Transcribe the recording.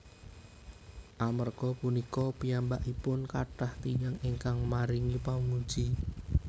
Amerga punika piyambakipun kathah tiyang ingkang maringi pamuji